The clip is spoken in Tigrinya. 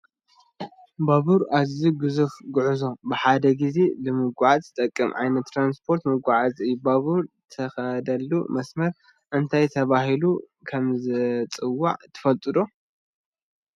ባባር ኣዝዩ ግዙፍ ጉዕዞ ብሓደ ግዜ ንምጉዕዓዝ ትጠቅም ዓይነት ትራንስፖርትን መጓዓዓዝን እያ፡፡ ባቡር ትኸደሉ መስመር እንታይ ተባሂሉ ከምዝፅዋዕ ትፈልጡ ዶ?